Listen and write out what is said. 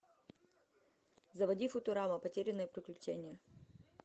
заводи футурама потерянные приключения